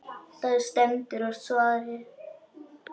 Það stendur á svari.